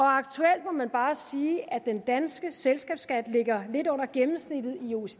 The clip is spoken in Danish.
aktuelt må man bare sige at den danske selskabsskat ligger lidt under gennemsnittet